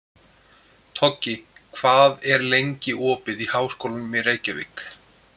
Toggi, hvað er lengi opið í Háskólanum í Reykjavík?